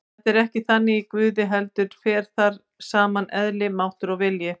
Þetta er ekki þannig í Guði heldur fer þar saman eðli, máttur og vilji.